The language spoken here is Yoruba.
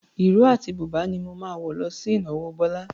Ìró àti bùbá ni mo máa wọ̀ lọ sí ìnáwó Bọ́lá.